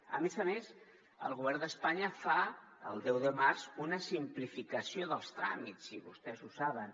a més a més el govern d’espanya fa el deu de març una simplificació dels tràmits i vostès ho saben